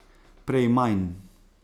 Prej manj.